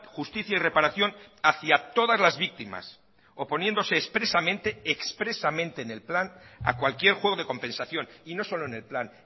justicia y reparación hacia todas las víctimas oponiéndose expresamente expresamente en el plan a cualquier juego de compensación y no solo en el plan